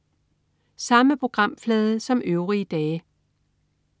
Samme programflade som øvrige dage